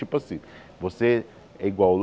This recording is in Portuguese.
Tipo assim, você é igual.